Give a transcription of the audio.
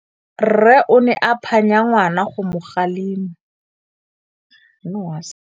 Rre o ne a phanya ngwana go mo galemela.